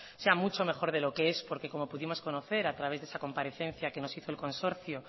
sea mucho mejor de lo que es porque como pudimos conocer a través de esa comparecencia que nos hizo el consorcio